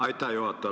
Aitäh, juhataja!